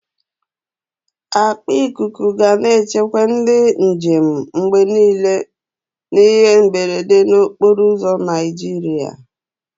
Akpa ikuku ga na-echebe ndị njem mgbe niile n'ihe mberede n'okporo ụzọ Naịjirịa.